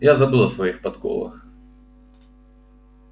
я забыл о своих подковах